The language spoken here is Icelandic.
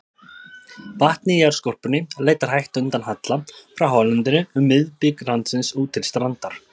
Vatnið í jarðskorpunni leitar hægt undan halla frá hálendinu um miðbik landsins út til strandar.